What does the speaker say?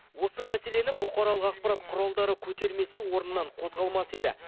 осы мәселені бұқаралық ақпарат құралдары көтермесе орнынан қозғалмас еді